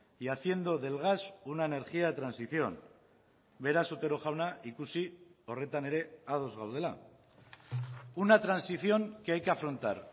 y haciendo del gas una energía de transición beraz otero jauna ikusi horretan ere ados gaudela una transición que hay que afrontar